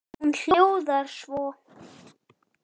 Hún hljóðar svo: